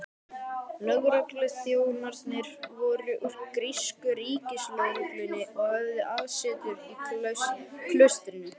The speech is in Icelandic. Lögregluþjónarnir voru úr grísku ríkislögreglunni og höfðu aðsetur í klaustrinu.